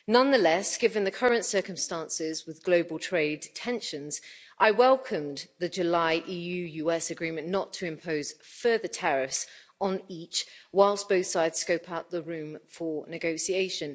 Nonetheless, given the current circumstances with global trade tensions, I welcomed the July EU US agreement not to impose further tariffs on each, whilst both sides scope out the room for negotiation.